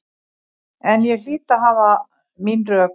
En ég hlýt að hafa mín rök.